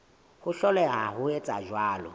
ho hloleha ho etsa jwalo